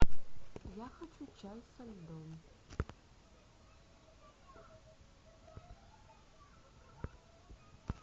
я хочу чай со льдом